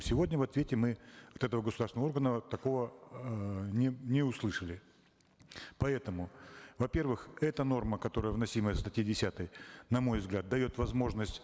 сегодня в ответе мы от этого государственного органа такого э не услышали поэтому во первых эта норма которая вносимая в статье десятой на мой взгляд дает возможность